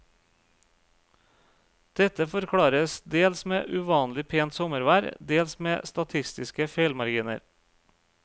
Dette forklares dels med uvanlig pent sommervær, dels med statistiske feilmarginer.